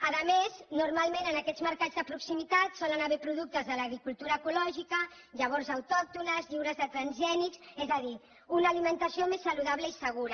a més normalment en aquests mercats de proximitat solen haver hi productes de l’agricultura ecològica llavors autòctones lliures de transgènics és a dir una alimentació més saludable i segura